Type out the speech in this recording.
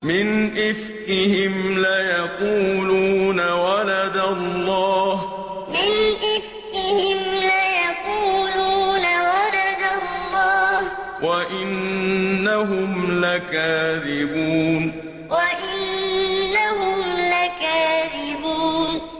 وَلَدَ اللَّهُ وَإِنَّهُمْ لَكَاذِبُونَ وَلَدَ اللَّهُ وَإِنَّهُمْ لَكَاذِبُونَ